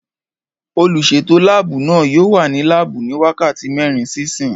Olùsètò láàbù náà yóò wà ní láàbù ní wákàtí mẹ́rin sí ìsín